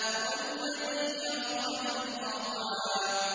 وَالَّذِي أَخْرَجَ الْمَرْعَىٰ